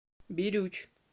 бирюч